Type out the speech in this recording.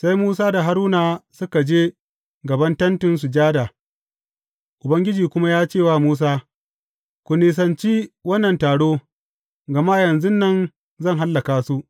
Sai Musa da Haruna suka je gaban Tentin Sujada, Ubangiji kuma ya ce wa Musa, Ku nisanci wannan taro, gama yanzu nan zan hallaka su.